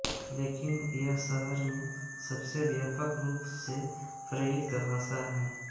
लेकिन यह शहर में सबसे व्यापक रूप से प्रयुक्त भाषा है